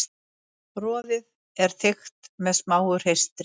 Roðið er þykkt með smáu hreistri.